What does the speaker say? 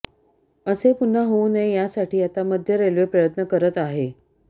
असे पुन्हा होऊ नये यासाठी आता मध्य रेल्वे प्रयत्न करत आहे